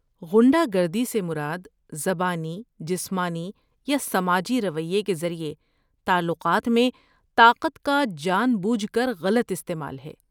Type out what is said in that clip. غنڈہ گردی سے مراد زبانی، جسمانی یا سماجی رویے کے ذریعے تعلقات میں طاقت کا جان بوجھ کر غلط استعمال ہے۔